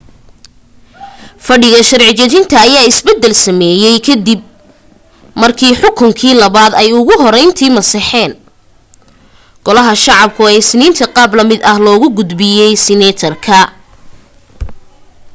fadhiga sharci dejinta ayaa isbeddel sameeyay ka dib markii xukunkii labaad ay ugu horreyntii masaxeen golaha shacabku ee isniinta qaab la mid ah loogu gudbiyay senate ka